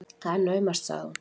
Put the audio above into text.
Það er naumast, sagði hún.